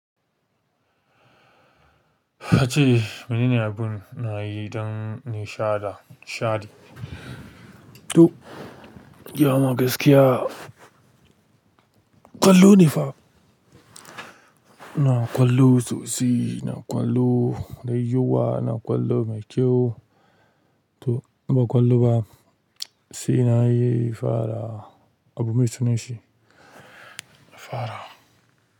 A ce, mene ne abun na yi ɗan nishada, shaɗi? To, ya ma gaskiya, ƙwallo ne fa. Na ƙwallo tsotsi, na ƙwallo da yawa, na ƙwallo mai kyau. To, in ba ƙwallo ba, sai na yi fara, abu mai sunan shi, fara.